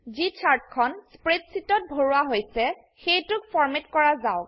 যি চাৰ্টখন স্প্ৰেডশীটত ভৰোৱা হৈছে সেইটোক ফৰম্যাট কৰা যাওক